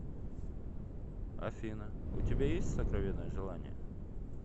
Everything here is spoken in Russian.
афина у тебя есть сокровенное желание